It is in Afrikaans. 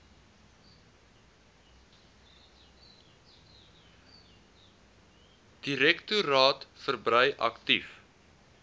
direktoraat verbrei aktief